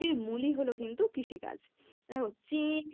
মূলই হলো কিন্তু কৃষিকাজ দেখো চিন